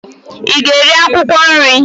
Ị ga-eri akwụkwọ nri?